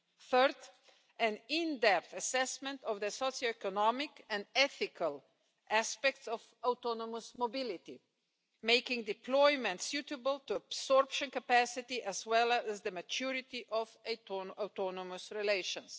Third, an in depth assessment of the socioeconomic and ethical aspects of autonomous mobility, making deployment suitable to absorption capacity as well as the maturity of autonomous relations.